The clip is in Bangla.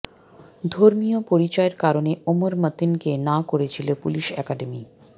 ধর্মীয় পরিচয়ের কারণে ওমর মতিনকে না করেছিল পুলিশ একাডেমি